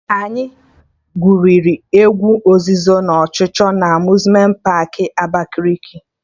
Anyị gwụrụ egwu ozuzo na ọchụchọ na Amuzmenti paakị Abakaliki